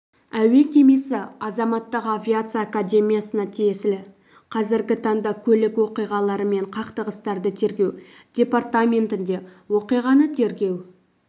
әуе кемесі азаматтық авиация академиясына тиесілі қазіргі таңда көлік оқиғалары мен қақтығыстарды тергеу департаментінде оқиғаны тергеу